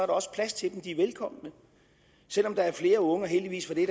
også plads til dem de er velkomne selv om der er flere unge og heldigvis for det